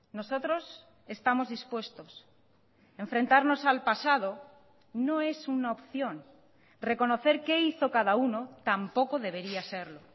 nosotros estamos dispuestos enfrentarnos al pasado no es una opción reconocer qué hizo cada uno tampoco debería serlo